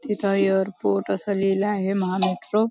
इथ एयरपोर्ट अस लिहिला आहे महा मेट्रो --